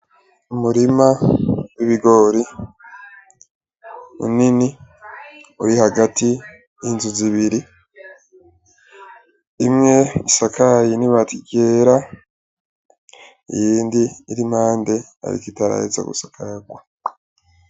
Umurima w'ibigori munini uri hagati y'inzu zibiri, imwe isakaye n'ibati ryera iyindi iri impande ariko itaraheza gusakarwa.